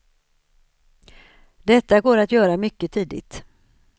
Detta går att göra mycket tidigt.